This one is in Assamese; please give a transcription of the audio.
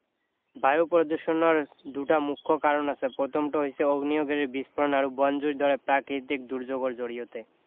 বায়ু প্ৰদষণৰ দুটা মুখ্য কাৰণ আছে প্ৰথমটো হৈছে অগ্নিয়গিৰি বিস্ফোৰণ আৰু বন জুইৰ দৰে প্ৰাকৃতিক দুৰ্যোগৰ জৰিয়তে